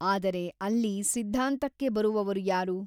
ಆದರೆ ಅಲ್ಲಿ ಸಿದ್ಧಾಂತಕ್ಕೆ ಬರುವವರು ಯಾರು ?